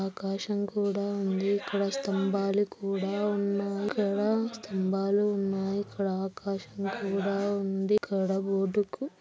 ఆకాశం కూడా ఉంది. ఇక్కడ స్తంబాలు కూడా ఉన్నాయి. ఇక్కడ స్తంబాలు ఉన్నాయి ఇక్కడ ఆకాశం కూడా ఉంది. ఇక్కడ --